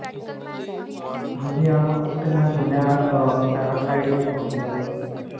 ਹਾਂਜੀ ਹਾਂ. ਉੱਥੇ ਮੈਂ ਸੁਣਿਆ ਹੈ ਅਅ paragliding ਹੁੰਦੀ ਹੈ ਬਹੁਤ ਵਧੀਆ.